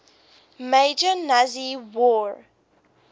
major nazi war